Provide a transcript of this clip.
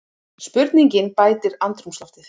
Spurningin bætir andrúmsloftið.